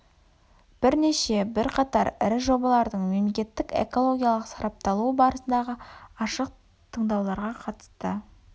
бірнеше бірқатар ірі жобалардың мемлекеттік экологиялық сарапталуы барысындағы ашық тыңдауларға қатысты